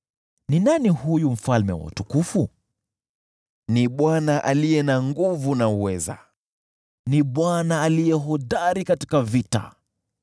Ni nani huyu Mfalme wa utukufu? Ni Bwana aliye na nguvu na uweza, ni Bwana aliye hodari katika vita.